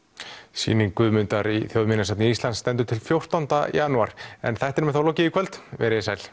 sýning Guðmundar Ingólfssonar í Þjóðminjasafni Íslands stendur til fjórtánda janúar en þættinum er þá lokið í kvöld veriði sæl